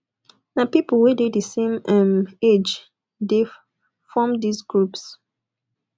na pipo wey dey di same um age de form these groups